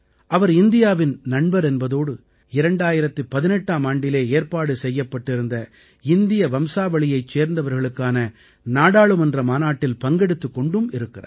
அவர் இந்தியாவின் நண்பர் என்பதோடு 2018ஆம் ஆண்டிலே ஏற்பாடு செய்யப்பட்டிருந்த இந்திய வம்சாவளியைச் சேர்ந்தவர்களுக்கான நாடாளுமன்ற மாநாட்டில் பங்கெடுத்துக் கொண்டுமிருக்கிறார்